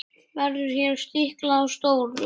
Verður hér stiklað á stóru.